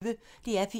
DR P1